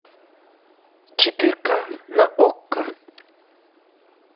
четырка на окко